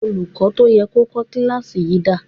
Olùkọ́ tó yẹ kó kọ́ kíláàsì yìí dà?